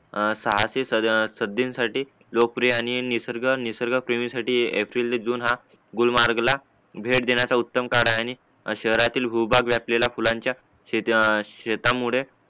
अ सहाशे सदसे साठी लोकप्रिय आणि निसर्ग निसर्ग साठी एप्रिल जून हा गुलमार्गला भेट देण्याचा उत्तम काळ आहे आणि शहरातील भूभाग व्यापलेलंय फुलांचा शेतीमुळे